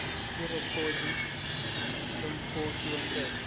kwirekhodi lomkhokhi wentela